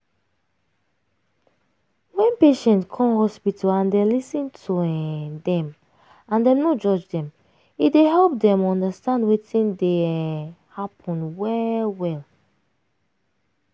wen patient come hospital and dem lis ten to um dem and dem no judge dem e dey help dem undastand wetin dey um happen well well.